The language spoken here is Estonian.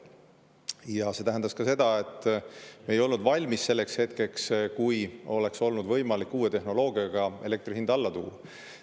Ja see tähendas ka seda, et me ei olnud valmis selleks hetkeks, kui oleks olnud võimalik uue tehnoloogiaga elektri hind alla tuua.